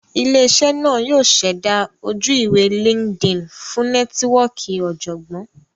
Ile-iṣẹ naa yoo ṣẹda oju-iwe LinkedIn fun nẹtiwọọki ọjọgbọn.